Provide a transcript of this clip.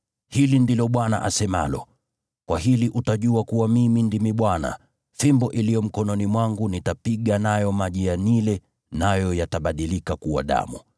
Hili ndilo Bwana asemalo: Kwa hili utajua kuwa Mimi ndimi Bwana : Fimbo iliyo mkononi mwangu nitapiga nayo maji ya Naili nayo yatabadilika kuwa damu.